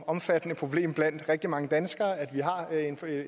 omfattende problem blandt rigtig mange danskere at vi har